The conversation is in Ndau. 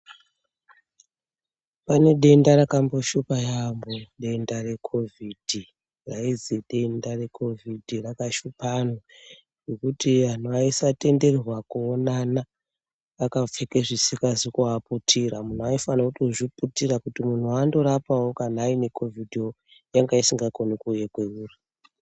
Pane denda rakamboshupa yambo denda recovid raizi Denda recovid rakashupa anhu zvekuti anhu aisatenderwa kuonana akapfeka zvisingazi kuvaputira munhu aifana kuzviputira ngenda yekuti vantu wawairapa ane covidwonanga asingafani kuuya kwauiri.